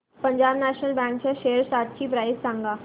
Punjab national bank च्या shares आजची price सांगा